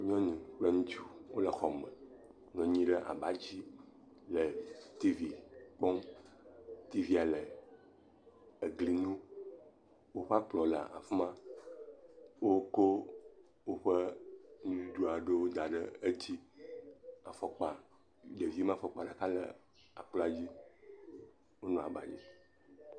Nyɔnu kple ŋutsu wole xɔme, nɔ anyi ɖe abadzi, tiivi kpɔm. Tiivi le egli ŋu. Woƒe akplɔ̃ le afi ma. Wokɔ woƒe nuɖuɖu aɖewo da ɖe edzi. Afɔkpa, ɖevi me fɔkpa ɖeka le akplɔ dzi. Wole abadzi.